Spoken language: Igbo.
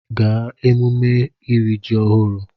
Gaa emume iri ji ọhụrụ!